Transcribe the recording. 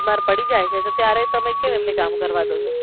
બિમાર પડી જાય છે તો ત્યારે તમે કેમ એમને કામ કરવા દેશો